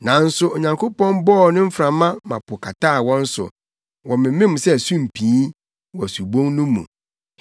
Nanso Onyankopɔn bɔɔ ne mframa ma po kataa wɔn so. Wɔmemem sɛ sumpii wɔ subun no mu.